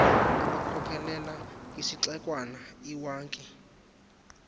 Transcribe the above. ebakhokelela kwisixekwana iwankie